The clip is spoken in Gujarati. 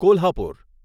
કોલ્હાપુર